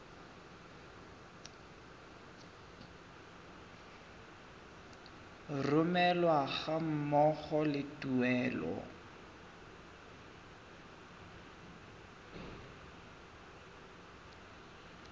romelwa ga mmogo le tuelo